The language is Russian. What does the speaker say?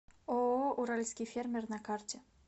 ооо уральский фермер на карте